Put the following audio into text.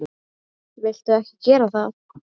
Viltu ekki gera það!